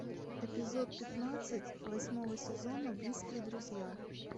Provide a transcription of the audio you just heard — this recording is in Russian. эпизод пятнадцать восьмого сезона близкие друзья